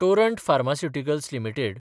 Torrent Pharmaceuticals limited